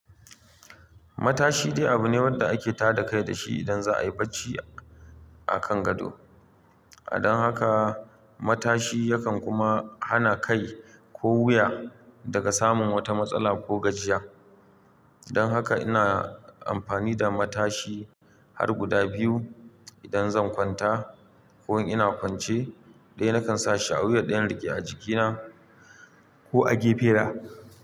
Matashi dai abune wanda ake tada kai dashi idan za a yi barci a kan gado. A don haka matashi yakan kuma hana kai ko wuya daga samun wata matsala ko gajiya. Don haka ina amfani da matashi har guda biyu idan zan kwanta ko in ina kwance daya nakan sashi awuya ɗaya in riƙe a jikina ko a gefe na.